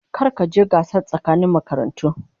Kar ka je gasar tsakanin makarantu.